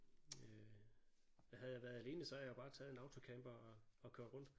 Øh og havde jeg været alene så havde jeg jo bare taget en autocamper og og kørt rundt